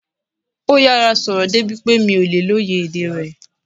Ó yára sọ̀rọ̀ débi pé mi ò lè lóye èdè rẹ̀